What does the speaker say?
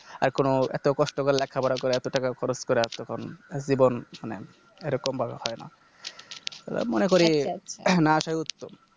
আর কোনো এতো কষ্ট করে লেখাপড়া করে এতো টাকা খরচ করে এতক্ষন জীবন মানে এরকম ভাবে হয়না মনে করি না আসাই উচি